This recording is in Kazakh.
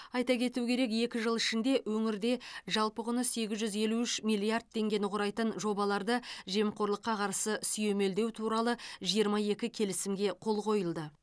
айта кету керек екі жыл ішінде өңірде жалпы құны сегіз жүз елу үш миллиард теңгені құрайтын жобаларды жемқорлыққа қарсы сүйемелдеу туралы жиырма екі келісімге қол қойылды